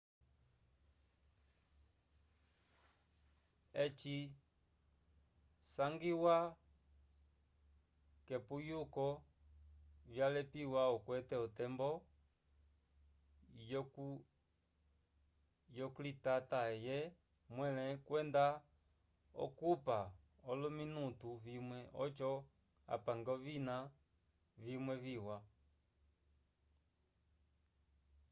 eci sangiwa k'epuyuko vyalepiwa okwete otembo yoklitata eye mwẽle kwenda okupa olominutu vimwe oco apange ovina vimwe viwa